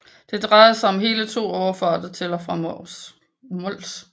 Det drejede sig om hele 2 overfarter til og fra Mols